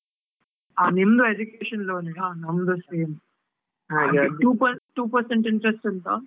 ಆ ನಿಮ್ದು education loan ಇಗಾ? ನಮ್ದು same two percent interest ಉಂಟಾ?